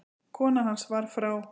Kona hans var frá